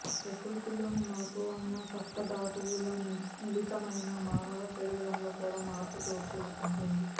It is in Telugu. ప్రకృతిలోని మార్పు వలన సప్త ధాతువుల మిలితమైన మానవ శరీరంలో కూడ మార్పు చోటు చేసుకుంటుంది